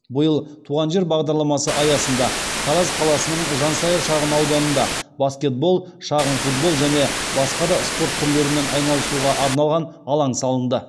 биыл туған жер бағдарламасы аясында тараз қаласының жансая шағын ауданында баскетбол шағын футбол және басқа да спорт түрлерімен айналысуға арналған алаң салынды